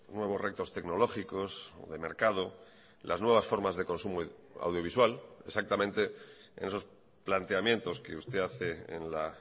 nuevos retos tecnológicos de mercado las nuevas formas de consumo audiovisual exactamente en esos planteamientos que usted hace en la